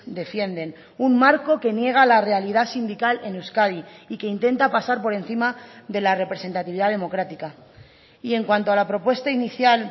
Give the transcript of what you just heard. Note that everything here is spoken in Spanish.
defienden un marco que niega la realidad sindical en euskadi y que intenta pasar por encima de la representatividad democrática y en cuanto a la propuesta inicial